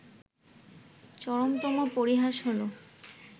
চরমতম পরিহাস হলো